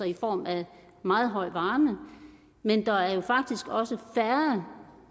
i form af meget høj varme men der er faktisk også færre